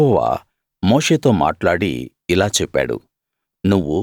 యెహోవా మోషేతో మాట్లాడి ఇలా చెప్పాడు